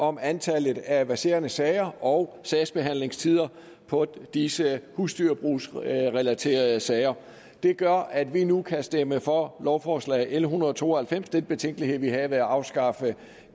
om antallet af verserende sager og sagsbehandlingstider på disse husdyrbrugsrelaterede sager det gør at vi nu kan stemme for lovforslag l en hundrede og to og halvfems den betænkelighed vi havde ved at afskaffe